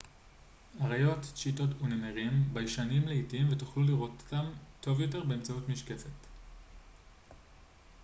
אריות צ'יטות ונמרים ביישנים לעתים ותוכלו לראות אותם טוב יותר באמצעות משקפת